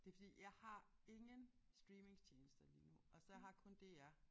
Det fordi jeg har ingen streamingtjenester lige nu og så har kun DR